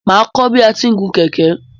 Máa kọ́ bi a ti ń gun kẹ̀kẹ́.